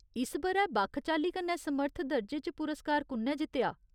इस ब'रै बक्ख चाल्ली कन्नै समर्थ दर्जे च पुरस्कार कु'न्नै जित्तेआ ?